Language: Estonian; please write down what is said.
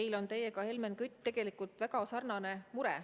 Meil on teiega, Helmen Kütt, tegelikult väga sarnane mure.